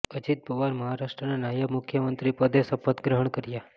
અજીત પવારે મહારાષ્ટ્રના નાયબ મુખ્યમંત્રી પદે શપથ ગ્રહણ કર્યા